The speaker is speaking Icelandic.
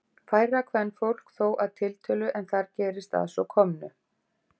Færra kvenfólk þó að tiltölu en þar gerist að svo komnu.